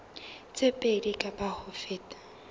tse pedi kapa ho feta